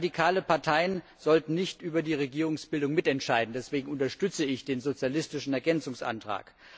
Radikale Parteien sollten nicht über die Regierungsbildung mitentscheiden, deswegen unterstütze ich den sozialistischen Ergänzungsantrag.